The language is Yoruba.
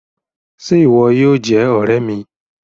Ṣe ìwò yóò jé òré mí?